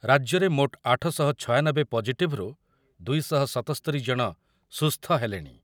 ରାଜ୍ୟରେ ମୋଟ ଆଠ ଶହ ଛୟାନବେ ପଜିଟିଭରୁ ଦୁଇ ଶହ ସତସ୍ତରି ଜଣ ସୁସ୍ଥ ହେଲେଣି।